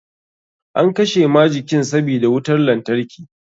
An kashe majikin sabida wutar lantarki.